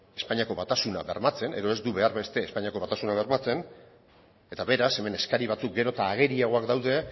espainiako batasuna bermatzen edo ez du behar beste espainiako batasuna bermatzen eta beraz hemen eskari batzuk gero eta ageriagoak daude